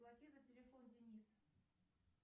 плати за телефон денис